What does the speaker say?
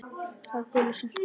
Það var Gulla sem spurði.